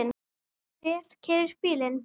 Hver keyrir bílinn?